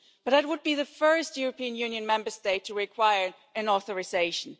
Romania would be the first European Union Member State to require an authorisation.